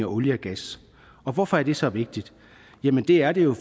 olie og gas hvorfor er det så vigtigt det er det jo